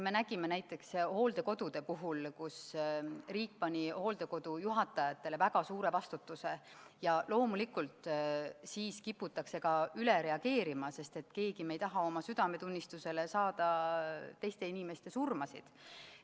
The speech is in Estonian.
Me nägime näiteks hooldekodude puhul, kus riik pani hooldekodude juhatajatele väga suure vastutuse ja loomulikult siis kiputakse ka üle reageerima, sest keegi ei taha oma südametunnistusele teiste inimeste surmasid.